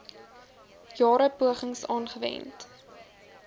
jare pogings aangewend